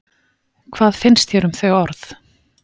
Hvað finnst þér um þau orð?